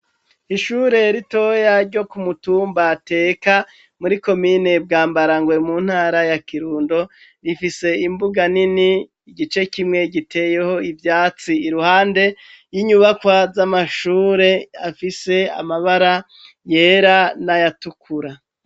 Ishure ritoya ryo kumutumba Teka muri komine Bwambarangwe mu ntara ya Kirundo rifise imbuga nini igice kimwe giteyeho ivyatsi iruhande y'inyubakwa z'amashure afise amabara yera n'ayatukura